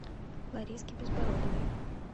лариски безбородовой